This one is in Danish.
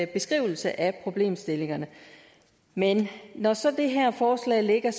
beskrivelse af problemstillingerne men når så det her forslag ligger